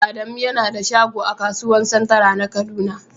Adamu yana da shagon a kasuwan " central" na kaduna.